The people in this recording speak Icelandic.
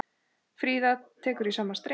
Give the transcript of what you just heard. Fríða tekur í sama streng.